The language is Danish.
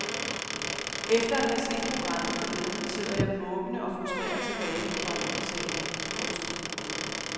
Efter at have set programmet forleden sidder jeg måbende og frustreret tilbage, komma sagde hun. punktum